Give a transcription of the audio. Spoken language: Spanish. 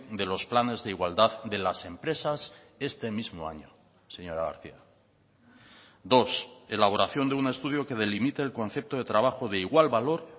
de los planes de igualdad de las empresas este mismo año señora garcía dos elaboración de un estudio que delimite el concepto de trabajo de igual valor